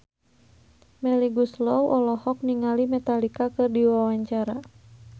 Melly Goeslaw olohok ningali Metallica keur diwawancara